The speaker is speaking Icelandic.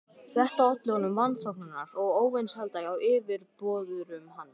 Þetta olli honum vanþóknunar og óvinsælda hjá yfirboðurum hans.